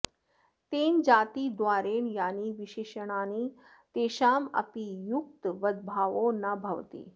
तेन जातिद्वारेण यानि विशेषणानि तेषाम् अपि युक्तवद्भावो न भवति